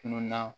Tununna